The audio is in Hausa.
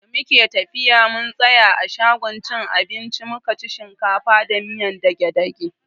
Da muke tafiya mun tsaya a shagon cin abinci mukaci shinkafa da miyar dage-dage.